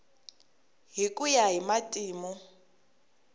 hi ku ya hi matimu